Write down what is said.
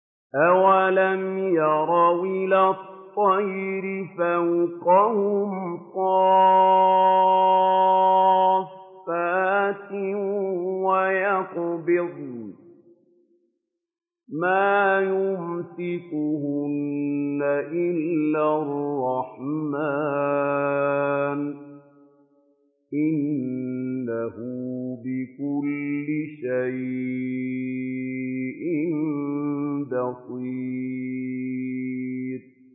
أَوَلَمْ يَرَوْا إِلَى الطَّيْرِ فَوْقَهُمْ صَافَّاتٍ وَيَقْبِضْنَ ۚ مَا يُمْسِكُهُنَّ إِلَّا الرَّحْمَٰنُ ۚ إِنَّهُ بِكُلِّ شَيْءٍ بَصِيرٌ